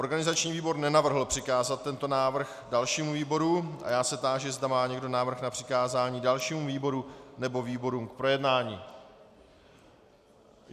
Organizační výbor nenavrhl přikázat tento návrh dalšímu výboru a já se táži, zda má někdo návrh na přikázání dalšímu výboru nebo výborům k projednání.